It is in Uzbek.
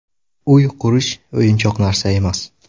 Uy qurish o‘yinchoq narsa emas.